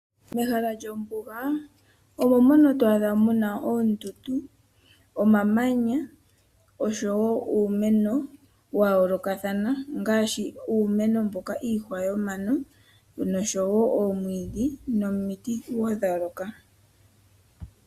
Mehala lyombuga omo mono to adha muna oondundu, omamanya oshowo uumeno wa yoolokathana ngaashi uumeno mboka iihwa yomano noshowo oomwiidhi nomiti wo dha yooloka.